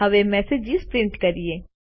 હવે messages print કરીએ